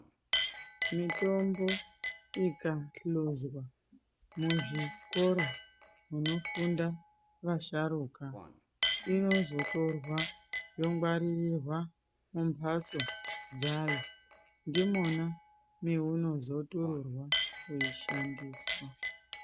Mitombo ikahluzwa muzvikora zvinofundwa vasharuka inozotorea yongwariririrwa mumbatso dzayo ndimona meunozotururwa weishandiswa.